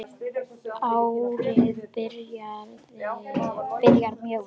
Árið byrjar mjög vel.